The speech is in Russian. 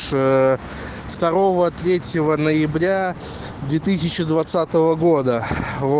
с второго третьего ноября две тысячи двадцатого года во